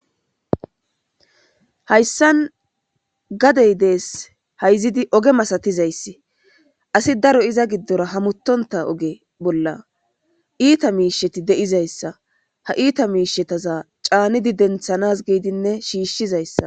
hayssan gadey dees hayzidi oge masatizayssi asi daro iza giddora hamuttonta oge bolla iita miisheti de7izayssa ha iita miishetaza caanidi denthanas giidinne shiishshizayssa